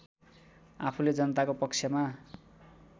आफूले जनताको पक्षमा